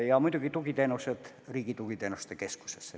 Ja muidugi see, et tugiteenused liikusid Riigi Tugiteenuste Keskusesse.